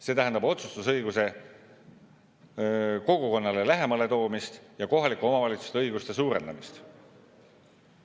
See tähendab otsustusõiguse kogukonnale lähemale toomist ja kohalike omavalitsuste õiguste suurendamist.